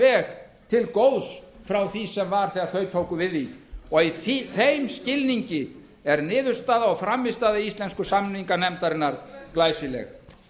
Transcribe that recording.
veg til góðs frá því sem var þegar þau tóku við því og í þeim skilningi er niðurstaða og frammistaða íslensku samninganefndarinnar glæsileg